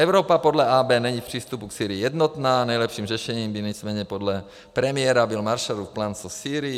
Evropa podle AB není v přístupu k Sýrii jednotná, nejlepším řešením by nicméně podle premiéra byl Marshallův plán se Sýrií.